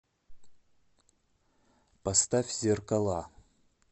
поставь зеркала